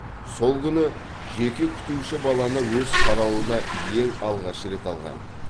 сол күні жеке күтуші баланы өз қарауына ең алғаш рет алған